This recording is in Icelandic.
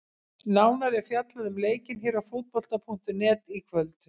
Nánar er fjallað um leikinn hér á Fótbolta.net í kvöld.